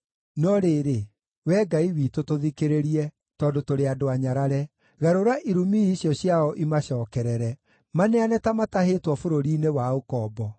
No rĩrĩ, Wee Ngai witũ tũthikĩrĩrie, tondũ tũrĩ andũ anyarare. Garũra irumi icio ciao imacookerere. Maneane ta matahĩtwo bũrũri-inĩ wa ũkombo.